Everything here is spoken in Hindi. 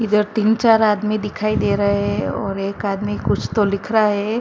इधर तीन चार आदमी दिखाई दे रहा है और एक आदमी कुछ तो लिख रहा है।